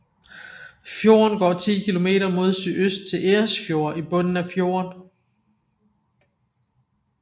Fjorden går 10 kilometer mod sydøst til Eresfjord i bunden af fjorden